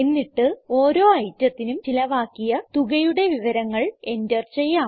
എന്നിട്ട് ഓരോ ഐറ്റത്തിനും ചിലവാക്കിയ തുകയുടെ വിവരങ്ങൾ എന്റർ ചെയ്യാം